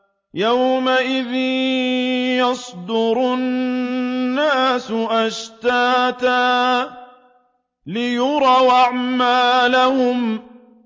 يَوْمَئِذٍ يَصْدُرُ النَّاسُ أَشْتَاتًا لِّيُرَوْا أَعْمَالَهُمْ